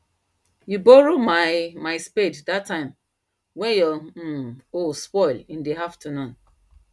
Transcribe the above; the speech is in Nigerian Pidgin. you borrow my my spade that time wen your um hoe spoil in the afternoon